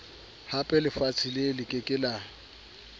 hapelefatshe le ke ke la